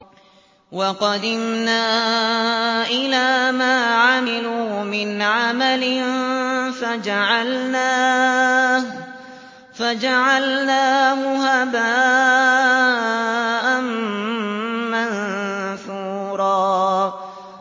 وَقَدِمْنَا إِلَىٰ مَا عَمِلُوا مِنْ عَمَلٍ فَجَعَلْنَاهُ هَبَاءً مَّنثُورًا